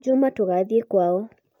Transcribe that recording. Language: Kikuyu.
juma tugathie kwao